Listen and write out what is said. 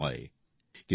ঝামেলা কম হয়